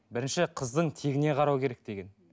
бірінші қыздың тегіне қарау керек деген